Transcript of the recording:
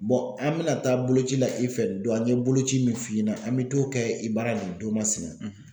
an bɛna taa boloci la i fɛ don an ye boloci min f'i ɲɛna an bɛ to kɛ i bara nin don masina.